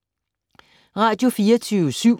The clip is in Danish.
Radio24syv